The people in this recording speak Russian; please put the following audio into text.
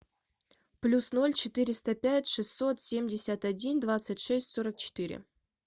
плюс ноль четыреста пять шестьсот семьдесят один двадцать шесть сорок четыре